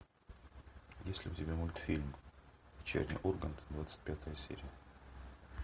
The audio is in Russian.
есть ли у тебя мультфильм вечерний ургант двадцать пятая серия